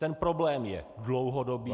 Ten problém je dlouhodobý -